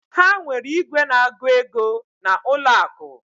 Ha nwere igwe na agu ego na ụlọ akụ.